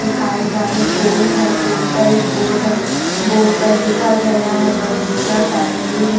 दिखाई जा रहे पोल है पोल पर एक बोर्ड है बोर्ड पर लिखा गया है बगीचा फैमिली री--